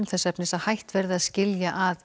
þess efnis að hætt verði að skilja að